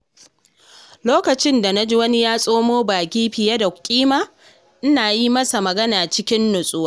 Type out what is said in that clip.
Lokacin da na ji wani ya tsoma baki fiye da kima, ina yi masa magana cikin natsuwa.